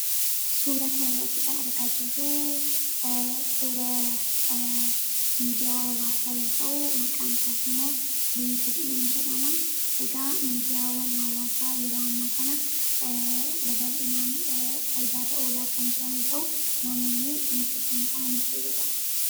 Suuraa kana irratti kan argaa jirruu, toora miidiyaa hawaasa yoo ta'u maqaan isaas immoo liinkidiinii jedhama. Miidiyaan hawaasaa yeroo ammaa kana babal'inaan fayidaa irra oolaa kan jiran yoo ta'u, namoonni liinkidiinii kanaan fayyadamu.